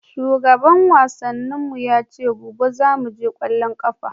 Shugaban wasannin mu ya ce gobe zamu je ƙwallon ƙafa.